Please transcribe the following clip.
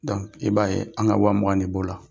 i b'a ye an ka wa mugan de b'o la.